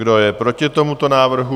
Kdo je proti tomuto návrhu?